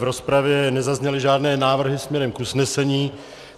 V rozpravě nezazněly žádné návrhy směrem k usnesení.